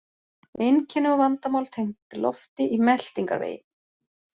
Einkenni og vandamál tengd lofti í meltingarvegi